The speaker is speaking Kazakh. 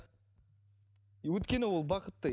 өйткені ол бақытты